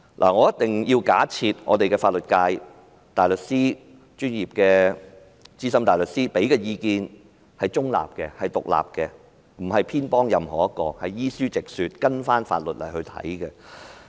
我必須假設香港的法律界大律師、專業的資深大律師提供的意見是中立及獨立的，不會偏頗任何人，是依書直說，根據法律來提供意見。